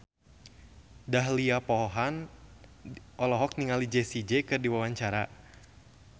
Dahlia Poland olohok ningali Jessie J keur diwawancara